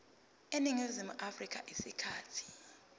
eningizimu afrika isikhathi